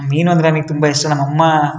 ಮೀನು ಅಂದ್ರೆ ನನಗೆ ತುಂಬಾ ಇಷ್ಟ ನಮ್ಮಮ್ಮ --